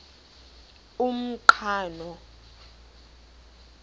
umqhano